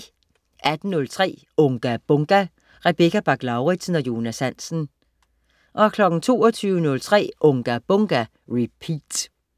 18.03 Unga Bunga! Rebecca Bach-Lauritsen og Jonas Hansen 22.03 Unga Bunga! Repeat